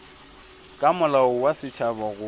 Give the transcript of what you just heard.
ka molao wa setšhaba go